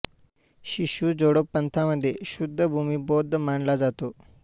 Shinshu Jodo पंथामध्ये शुद्ध भूमी बौद्ध मानला जातो